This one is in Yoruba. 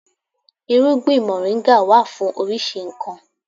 Irúgbìn moringa wà fún oríṣi nkan.